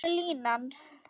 Hvar er línan?